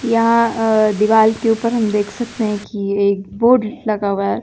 यहां दीवाल के ऊपर हम देख सकते हैं कि एक बोर्ड लगा हुआ है।